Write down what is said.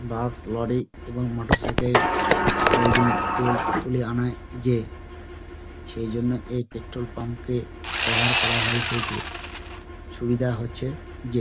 বাস lorry এবং motorcycle প্রয়োজন তেল তুলে আনায় যে সেই জন্য এই পেট্রোল পাম্পকে ব্যবহার করা হয়েছে যে সুবিধা হচ্ছে যে।